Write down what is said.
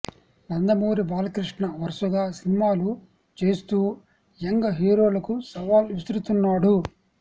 నందమూరి బాలకృష్ణ వరుసగా సినిమాలు చేస్తూ యంగ్ హీరోలకు సవాల్ విసురుతున్నాడు